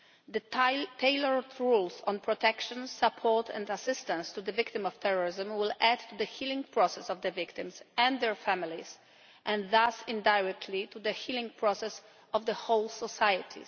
The tailored rules on protection, support and assistance to the victims of terrorism will add to the healing process of the victims and their families, and thus indirectly to the healing process of the whole society.